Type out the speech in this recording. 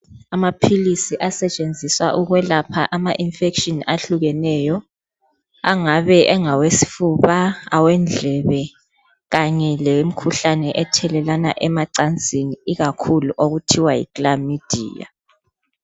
Amaphilisi asetshenziswa ukwelapha ama infection ehlukeneyo. Angabe engawesifuba, awendlebe kanye lemkhuhlane ethelelana emacansini ikakhulu okuthiwa yi chlamydia.